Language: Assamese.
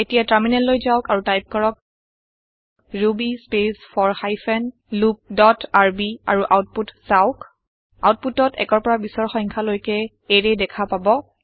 এতিয়া টাৰমিনেল লৈ যাওক আৰু টাইপ কৰক ruby space for hyphen loop dot R B output চাওঁক আওতপুটত ১ৰ পৰা ২০ৰ সংখ্যা লৈকে এৰে দেখা পাব